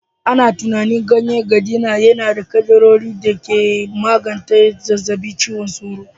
Ana tunanin ganyen gadina yana da kaddarorin da ke magance cutar zazzabin cizon sauro